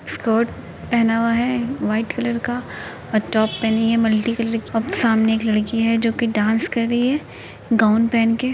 Skirt पहना हुआ है वाइट कलर का और टॉप पहनी है मल्टी कलर की और सामने एक लड़की है जो कि डांस कर रही है गाउन पहन के।